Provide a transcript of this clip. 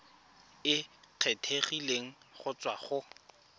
e kgethegileng go tswa go